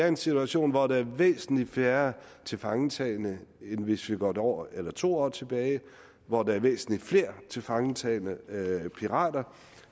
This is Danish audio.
en situation hvor der er væsentlig færre tilfangetagne end hvis vi går et år eller to år tilbage og hvor der er væsentlig flere tilfangetagne pirater